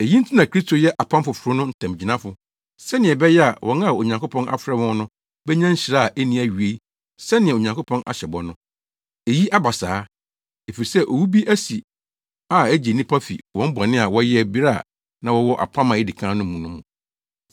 Eyi nti na Kristo yɛ apam foforo no ntamgyinafo sɛnea ɛbɛyɛ a wɔn a Onyankopɔn afrɛ wɔn no benya nhyira a enni awiei sɛnea Onyankopɔn ahyɛ bɔ no. Eyi aba saa, efisɛ owu bi asi a egye nnipa fi wɔn bɔne a wɔyɛɛ bere a na wɔwɔ apam a edi kan no mu no mu.